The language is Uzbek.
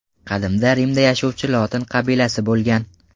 Qadimda Rimda yashovchi lotin qabilasi bo‘lgan.